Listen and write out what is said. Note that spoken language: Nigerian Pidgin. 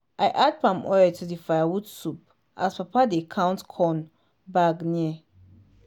i add palm oil to di firewood soup as papa dey count corn bag near.